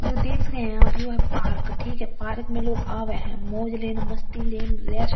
यो देख रहे हैं आप यो है पार्क ठीक है पार्क में लोग आवे हैं मौज लेने मस्ती लेने रेस्ट --